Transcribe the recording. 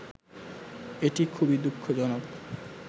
এটি খুবই দু:খজনক